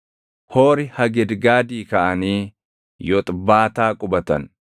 Hoori Hagidgaadii kaʼanii Yoxbaataa qubatan.